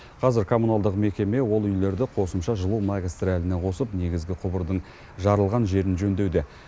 қазір коммуналдық мекеме ол үйлерді қосымша жылу магистраліне қосып негізгі құбырдың жарылған жерін жөндеуде